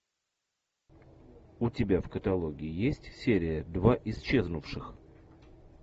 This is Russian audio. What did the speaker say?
у тебя в каталоге есть серия два исчезнувших